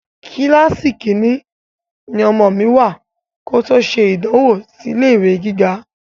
Kíláàsì Kínní ni ọmọ mi wá kòtò ṣe ìdánwò sì ilé ìwé gíga